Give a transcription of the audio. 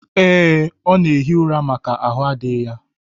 Ee, ọ na-ehi ura maka ahụ adịghị ya